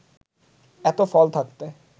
এত ফল থাকতে